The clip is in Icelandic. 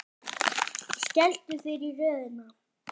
Skelltu þér í röðina.